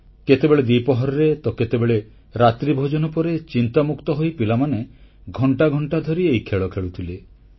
କେତେବେଳେ ଦିପହରରେ ତ କେତେବେଳେ ରାତିରେ ଭୋଜନ ପରେ ଚିନ୍ତାମୁକ୍ତ ହୋଇ ପିଲାମାନେ ଘଂଟା ଘଂଟା ଧରି ଏହି ଖେଳ ଖେଳୁଥିଲେ